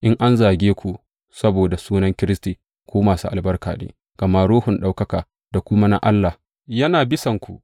In an zage ku saboda sunan Kiristi, ku masu albarka ne, gama Ruhun ɗaukaka da kuma na Allah yana bisanku.